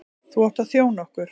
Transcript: Þú átt að þjóna okkur.